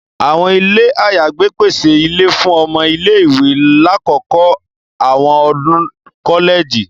Àwọn ilé ayagbe pèsè ìlé fún ọmọ ilé-ìwé lakoko awọn ọdun kọlẹji.